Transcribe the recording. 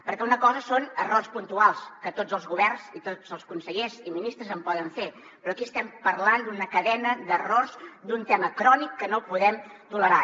perquè una cosa són errors puntuals que tots els governs i tots els consellers i ministres en poden fer però aquí estem parlant d’una cadena d’errors d’un tema crònic que no podem tolerar